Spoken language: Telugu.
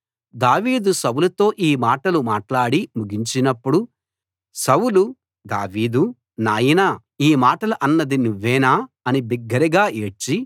దావీదు సౌలుతో ఈ మాటలు మాట్లాడి ముగించినప్పుడు సౌలు దావీదూ నాయనా ఈ మాటలు అన్నది నువ్వేనా అని బిగ్గరగా ఏడ్చి